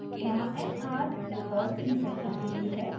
यहाँ nr records की संख्या के लिए है